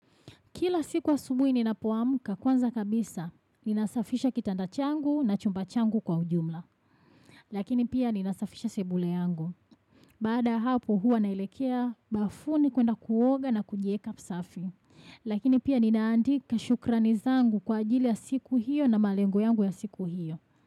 Kila siku asubuhi ninapoamka kwanza kabisa, ninasafisha kitanda changu na chumba changu kwa ujumla. Lakini pia ninasafisha sebule yangu. Baada ya hapo huwa naelekea, bafuni kuenda kuoga na kujieka safi. Lakini pia ninaandika shukurani zangu kwa ajili ya siku hiyo na malengo yangu ya siku hiyo.